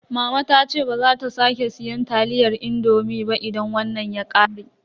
Mama ta ce baza ta sake siyan taliyar indomi ba idan wannan ya ƙare.